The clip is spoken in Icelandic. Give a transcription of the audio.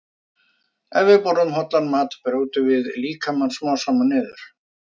Ef við borðum óhollan mat brjótum við líkamann smám saman niður.